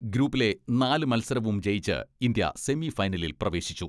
ഗ്രൂപ്പിലെ നാല് മത്സരവും ജയിച്ച് ഇന്ത്യ സെമി ഫൈനലിൽ പ്രവേശിച്ചു.